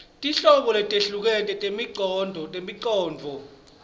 tinhlobo letehlukene tetimongcondvo